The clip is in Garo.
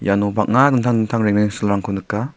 iano bang·a dingtang dingtang rengrengsilrangko nika.